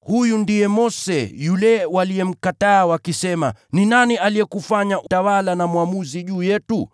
“Huyu ndiye Mose yule waliyemkataa wakisema, ‘Ni nani aliyekufanya mtawala na mwamuzi juu yetu?’